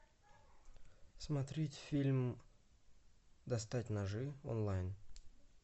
смотреть фильм достать ножи онлайн